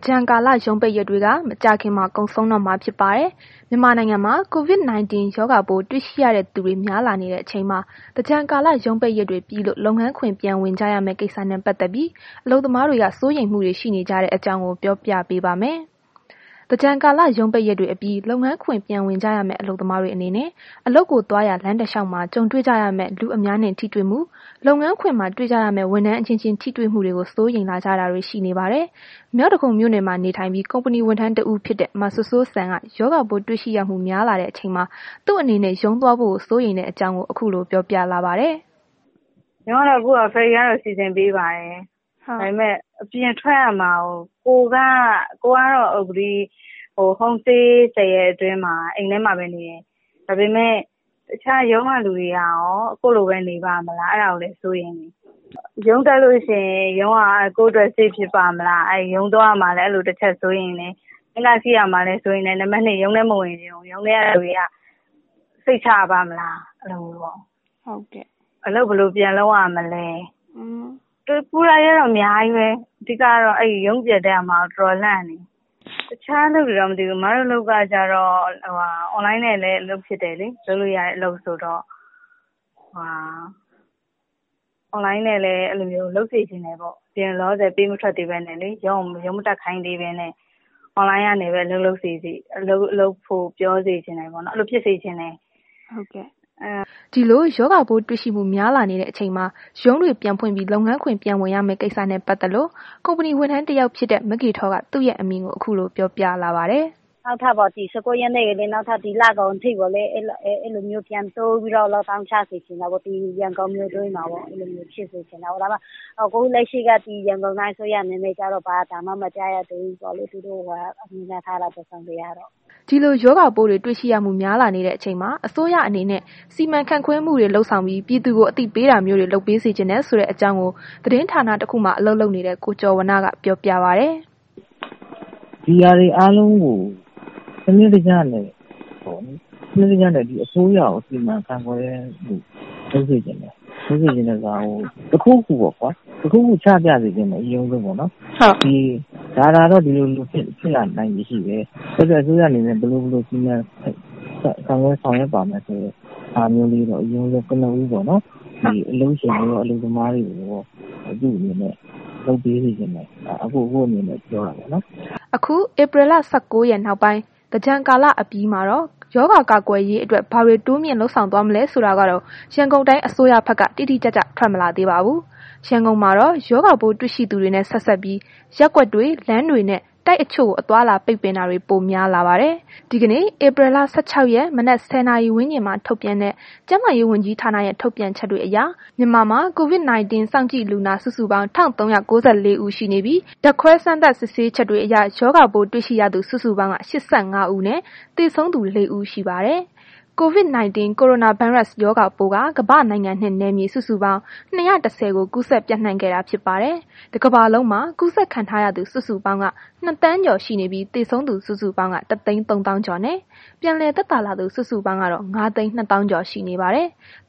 ကြန်ကာလ ရုံးပိတ်ရက်တွေက မကြာခင်မှာ ကုန်ဆုံးတော့မှာ ဖြစ်ပါတယ်။ မြန်မာနိုင်ငံမှာ COVID-19 ရောဂါပိုးတွေ့ရှိရတဲ့ သူတွေများလာနေတဲ့ အချိန်မှာ သင်္ကြန်ကာလ ရုံးပိတ်ရက်တွေပြီးလို့ လုပ်ငန်းခွင်ပြန်ဝင်ကြရမယ့် ကိစ္စနဲ့ ပတ်သက်ပြီး အလုပ်သမားတွေက စိုးရိမ်မှုတွေ ရှိနေကြတဲ့ အကြောင်းကို ဗွီအိုအေ မြန်မာပိုင်း သတင်းထောက် မအိမ့်သန္တာထွန်းက ပြောပြပေးပါမယ်။ သင်္ကြန်ကာလ ရုံးပိတ်ရက်တွေအပြီး လုပ်ငန်းခွင်ပြန်ဝင်ကြရမယ့် အလုပ်သမားတွေအနေနဲ့ အလုပ်ကိုသွားရာ လမ်းတစ်လျှောက်မှာ ကြုံတွေကြရမယ့် လူအများနဲ့ ထိတွေ့မှု၊ လုပ်ငန်းခွင်မှာ တွေ့ကြရမယ့် ဝန်ထမ်းအချင်းချင်း ထိတွေ့မှုတွေကို စိုးရိမ်လာကြတာတွေ ရှိနေပါတယ်။ မြောက်ဒဂုံမြို့နယ်မှာ နေထိုင်ပြီး ကုမ္ပဏီဝန်ထမ်း တစ်ဦးဖြစ်တဲ့ မစိုးစိုးစံက ရောဂါပိုးတွေ့ရှိရမှု များလာတဲ့ အချိန်မှာ သူ့အနေနဲ့ ရုံးသွားဖို့ကို စိုးရိမ်တဲ့ အကြောင်းကို ခုလို ပြောပြလာပါတယ်။ “ရုံးကတော့ အခု ferry ကတော့ စီစဉ်ပေးပါတယ်။ ကိုယ်ကတော့ အခု home stay ၁၀ ရက်အတွင်းမှာ ဘယ်မှ မသွားဘဲ အိမ်ထဲမှာပဲ နေတယ်။ ဒါပေမဲ့ တခြားရုံးက လူတွေကရော ကိုယ့်လိုပဲ နေပါ့မလား အဲ့ဒါကို စိတ်ပူတယ်။ ရုံးတက်လို့ ရှိရင် ရုံးက ကိုယ်အတွက် save ဖြစ်ပါ့မလား။ ရုံးသွားရမှာလည်း အဲ့လိုတစ်ချက် စိုးရိမ်တယ်။ ဘတ်စ်ကားစီးရမှာလဲ စိုးရိမ်တယ် နောက် ရုံးထဲ မဝင်ချင်ဘူး။ ရုံးထဲကလူတွေက စိတ်ချရပါ့မလား အဲ့လိုပေါ့။ အလုပ်ဘယ်လိုပြန်လုပ်ရမလဲ ပူတာတွေကတော့ အများကြီးပဲ အဓိကကတော့ ရုံးပြန်တက်ရမှာ ကို တော်တော်လန့်နေတယ်။ အခြားအလုပ်တော့ မသိဘူး၊ အမတို့အလုပ်ကျတော့ Online နဲ့လည်း အလုပ်ဖြစ်တယ်လေ online နဲ့ပဲ လုပ်စေချင်တယ်ပေါ့။ အပြင်ကို လောလောဆယ် ပေးမထွက်သေးဘဲနဲ့ပေါ့။ online နေပဲ လုပ်ဖို့လုပ်ဖို့ ပြောစေချင်တယ် ရုံးမတက်ခိုင်းသေးဘဲနဲ့ ပေါ့၊ အဲ့လိုဖြစ်စေချင်တယ်။” ဒီလို ရောဂါပိုးတွေ့ရှိမှု များလာနေတဲ့ အချိန်မှာ ရုံးတွေ ပြန်ဖွင့်ပြီး လုပ်ငန်းခွင် ပြန်ဝင်ရမယ့် ကိစ္စနဲ့ ပတ်သက်လို့ ကုမ္ပဏီ ဝန်ထမ်းတစ်ယောက်ဖြစ်တဲ့ မဂေထောက သူ့ရဲ့ အမြင်ကို ခုလို ပြောပြလာပါတယ်။ “ဒီ ၁၉ ရက်ထိပြီးရင် နောက်ထပ် ဒီလကုန်အထိကိုလည်း အဲ့လိုမျိုး ပြန်တိုးပြီးတော့ lock down ချစေချင်တယ် ရန်ကုန်မြို့တွင်းမှာပေါ့။ ခုလက်ရှိက ဒီရန်ကုန်တိုင်းအစိုးရ အနေနဲ့ ဘာသံမှ မကြားရသေးဘူးဆိုတော့လည်း သူတို့ကိုစောင့်ကြည့် ရမှာပေါ့။” ဒီလို ရောဂါပိုးတွေရှိရမှုတွေ များလာနေတဲ့အချိန်မှာ အစိုးရအနေနဲ့ စီမံခန့်ခွဲမှုတွေ လုပ်ဆောင်ပြီး ပြည်သူကို အသိပေးတာမျိုးတွေ လုပ်ပေးစေချင်တယ်ဆိုတဲ့ အကြောင်းကို သတင်းဌာနတစ်ခုမှာ အလုပ်လုပ်တဲ့ ကိုကျော်ဝဏ္ဏက ပြောပါတယ်။ “ဒီဟာတွေအားလုံးကို စနစ်တကျနဲ့ အစိုးရက စီမံခန့်ခွဲတာမျိုးတွေ လုပ်စေချင်တယ်။ လုပ်စေချင်တယ်ဆိုတာက တစ်ခုခုပေါ့ကွာ တစ်ခုခု ချပြစေချင်တယ် အရင်ဦးဆုံးပေါ့နှော်။ ဒါကတော့ ဒီလို ဒီလိုဖြစ်လာနိုင်ချေရှိတယ်။ အစိုးရအနေနဲ့ ဘယ်လို ဘယ်လို စီမံဆောင်ရွက်ပါမယ်ဆိုတဲ့ ဟာမျိုးလေးတော့ ကနဦးပေါ့နော်။ အလုပ်ရှင်နဲ့ အလုပ်သမားတွေကိုတော့ လုပ်ပေးစေချင်တယ်။ ဒါက အကို့အမြင်နဲ့ ပြောတာပေါ့နော်။” အခု ဧပြီလ ၁၉ ရက် နောက်ပိုင်း သင်္ကြန်ကာလအပြီးမှာတော့ ရောဂါကာကွယ်ရေးအတွက် ဘာတွေ တိုးမြင့်လုပ်ဆောင်သွားမလဲဆိုတာကတော့ ရန်ကုန်တိုင်း အစိုးရဘက်က တိတိကျကျ ထွက်မလာသေးပါဘူး။ ရန်ကုန်မှာတော့ ရောဂါပိုးတွေ့ရှိသူတွေနဲ့ ဆက်စပ်ပြီး ရပ်ကွက်တွေ လမ်းတွေနှင့် တိုက်အချို့ကို အသွားအလာ ပိတ်ပင်တာတွေ ပိုများလာပါတယ်။ ဒီကနေ့ ဧပြီလ ၁၆ ရက် မနက် ၁၀ နာရီဝန်းကျင်မှာ ထုတ်ပြန်တဲ့ ကျန်းမာရေး ဝန်ကြီးဌာနရဲ့ ထုတ်ပြန်ချက်တွေအရ မြန်မာမှာ COVID-19 စောင့်ကြည့်လူနာ စုစုပေါင်း ၁,၃၉၄ ဦးရှိနေပြီး ဓာတ်ခွဲ စမ်းသပ် စစ်ဆေးချက်တွေအရ ရောဂါပိုး တွေ့ရှိရသူ စုစုပေါင်းက ၈၅ ဦး ရှိနေပြီး သေဆုံးသူ ၄ ဦး ရှိပါတယ်။ ကိုရိုနာဗိုင်းရပ်စ် COVID-19 ရောဂါပိုးက ကမ္ဘာနိုင်ငံနဲ့ နယ်မြေစုစုပေါင်း ၂၁၀ ကိုကူးစက်ပျံ့နှံ့ခဲ့တာဖြစ် ပါတယ်။ တစ်ကမ္ဘာလုံးမှာ ကူးစက်ခံထားရသူ စုစုပေါင်းက ၂,၀၀၀,၀၀၀ ကျော်ရှိနေပြီး သေဆုံးသူ စုစုပေါင်းက ၁၃၀,၀၀၀ ကျော် နှင့် ပြန်လည်သက်သာလာသူ စုစုပေါင်းကတော့ ၅၂၀,၀၀၀ ကျော် ရှိနေပါတယ်။